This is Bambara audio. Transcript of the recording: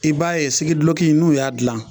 I b'a ye sigiduloki in n'u y'a dilan